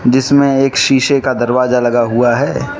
जिसमें एक शीशे का दरवाजा लगा हुआ है।